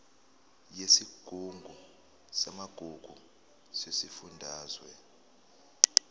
yesigungu samagugu sesifundazwe